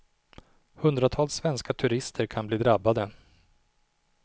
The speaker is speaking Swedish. Hundratals svenska turister kan bli drabbade.